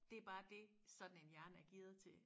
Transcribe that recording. Det bare dét sådan en hjerne er gearet til